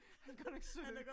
Han er godt nok sød